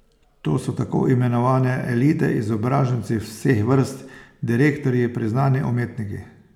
To so takoimenovane elite, izobraženci vseh vrst, direktorji, priznani umetniki.